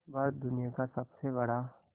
भारत दुनिया का सबसे बड़ा